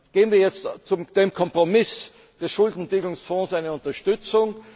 Geben wir jetzt dem Kompromiss des Schuldentilgungsfonds eine Unterstützung?